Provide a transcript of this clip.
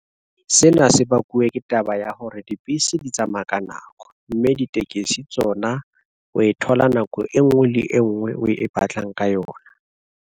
Sena se bakuwe ke taba ya hore dibese di tsamaya ka nako, mme ditekesi tsona o e thola nako e nngwe le e nngwe o e batlang ka yona.